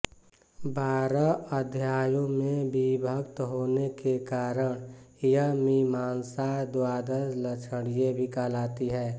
बारह अध्यायों में विभक्त होने के कारण यह मीमांसा द्वादशलक्षणी भी कहलाती है